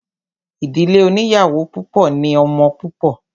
Ìdílé oníyàwó púpọ̀ ní ọmọ púpọ̀.